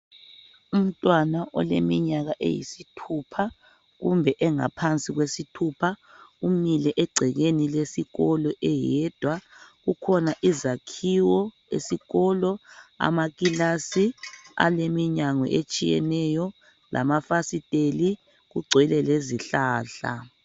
Umntwana oleminyaka eyisithupha kumbe engaphansi kwesithupha umile egcekeni lesikolo eyedwa, kukhona izakhiwo esikolo amakilasi aleminyango etshiyeneyo lamafasiteli kugcwele lezihlahla.